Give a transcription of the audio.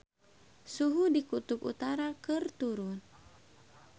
Suhu di Kutub Utara keur turun